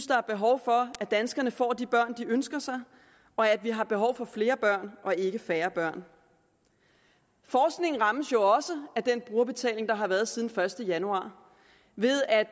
der er behov for at danskerne får de børn de ønsker sig og at vi har behov for flere børn og ikke færre børn forskningen rammes jo også af den brugerbetaling der har været siden den første januar ved at